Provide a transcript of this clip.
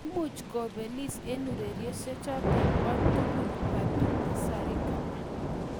Kiimuch kobelis eng ureriosiechoto tugul Fatuma Zarika